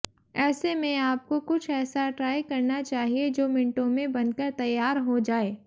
ऐसे में आपको कुछ ऐसा ट्राई करना चाहिए जो मिनटों में बनकर तैयार हो जाये